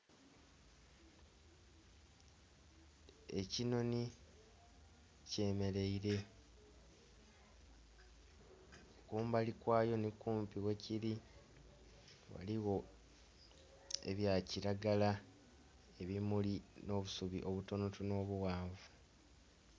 Ekinoni kyemereire kumbali kwayo ni kumpi we kiri waliwo ebya kiragala ebimuli no busubi obutono tono buwanvu